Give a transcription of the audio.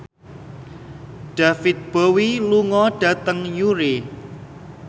David Bowie lunga dhateng Newry